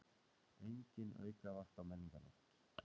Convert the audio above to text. Engin aukavakt á Menningarnótt